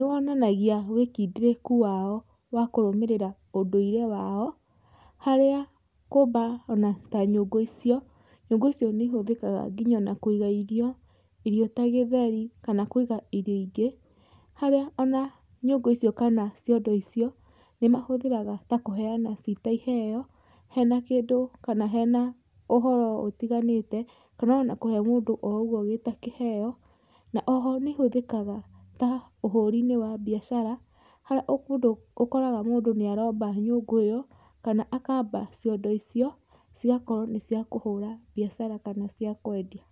Nĩ wonanagia wĩkindĩrĩku wao wa kũrũmĩrĩra ũndũire wao, harĩa kũmba ona ta nyũngũ icio, nyũngũ icio nĩ ihũthĩkaga nginya ona kwĩga irio, irio ta gĩtheri, kana kwĩiga irio ingĩ, haria ona nyũngũ icio kana ciondo icio, nĩ mahũthĩraga ta kũheyana cita iheyo, hena kĩndũ kana hena ũhoro ũtiganĩte, kana ona kũhe mũndũ o ũguo gĩta kĩheyo, na oho nĩ ihothĩkaga ta ũhũri - inĩ wa mbiacara, harĩa ũkoraga mũndũ nĩ aromba nyũngũ ĩyo, kana akamba ciondo icio cigakorwo nĩ cĩa kũhũra mbiacara, kana cĩa kwendia.